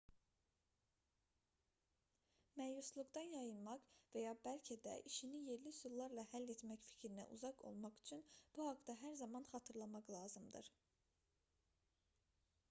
məyusluqdan yayınmaq və ya bəlkə də işini yerli üsullarla həll etmək fikrinə uzaq olmaq üçün bu haqda hər zaman xatırlamaq lazımdır